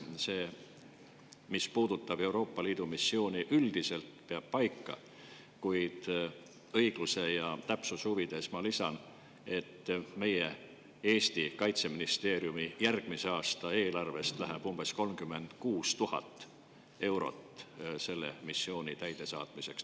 See, mis puudutab Euroopa Liidu missiooni, üldiselt peab paika, kuid õigluse ja täpsuse huvides ma lisan, et meie Kaitseministeeriumi järgmise aasta eelarvest läheb umbes 36 000 eurot selle missiooni täidesaatmiseks.